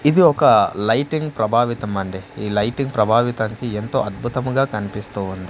ఇది ఒక లైటింగ్ ప్రభావితమండి ఈ లైటింగ్ ప్రభావితానికి ఎంతో అద్భుతముగా కన్పిస్తూ ఉంద్--